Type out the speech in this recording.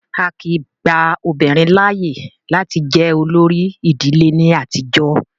Á kìí gba obìnrin láàyè láti jẹ olórí ìdílé ní àtijọ́.